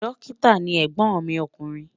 Dọ́kítà ni ẹ̀gbọ́n mi ọkùnrin.